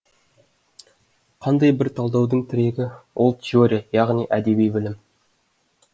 қандай бір талдаудың тірегі ол теория яғни әдеби білім